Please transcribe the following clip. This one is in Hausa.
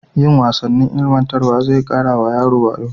Yin wasannin ilmantarwa zai ƙara wa yara wayo.